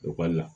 Ekɔli la